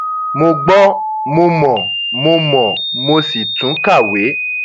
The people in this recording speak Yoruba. mo gbọ mo mọ mo mọ mo sì tún kàwé